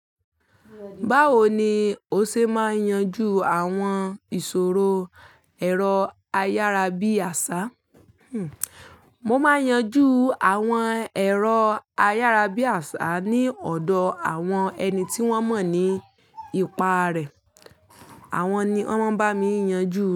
Báwo ni o ṣe máa ń yanjú àwọn ìṣòro ẹ̀rọ ayárabíàṣá? Mo máa ń yanjú àwọn ẹ̀rọ ayárabíàṣá ní ọ̀dọ̀ àwọn ẹni tí wọ́n mọ̀ ní ipa rẹ̀. Àwọn ni wọn máa ń bá mi yanjú rẹ̀.